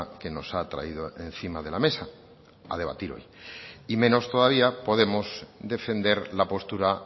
que nos ha traído encima de la mesa a debatir hoy y menos todavía podemos defender la postura